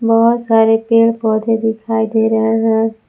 बहोत सारे पेड़ पौधे दिखाई दे रहे हैं।